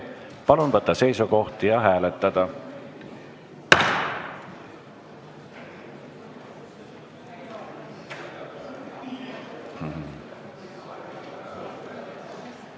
Palun võtta seisukoht ja hääletada!